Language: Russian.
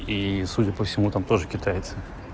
и судя по всему там тоже китайцы